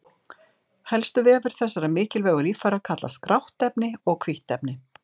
Helstu vefir þessara mikilvægu líffæra kallast grátt efni og hvítt efni.